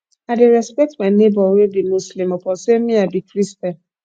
i dey respect my nebor wey be muslim upon sey me i be christian